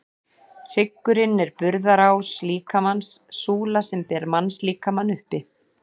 Hryggurinn er burðarás líkamans, súla sem ber mannslíkamann uppi.